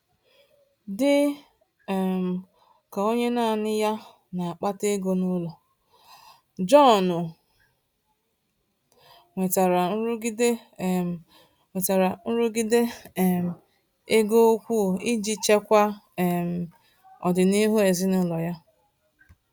Dị um ka onye naanị ya na-akpata ego n’ụlọ, John nwetara nrụgide um nwetara nrụgide um ego ukwu iji chekwaa um ọdịnihu ezinụlọ ya.